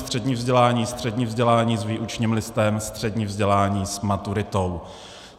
Střední vzdělání, střední vzdělání s výučním listem, střední vzdělání s maturitou.